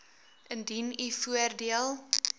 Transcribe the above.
indien u voordeel